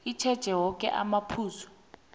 itjheje woke amaphuzu